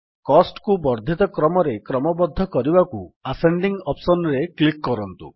Costକୁ ବର୍ଦ୍ଧିତ କ୍ରମରେ କ୍ରମବଦ୍ଧ କରିବାକୁ ଆସେଣ୍ଡିଂ ଅପ୍ସନ୍ ରେ କ୍ଲିକ୍ କରନ୍ତୁ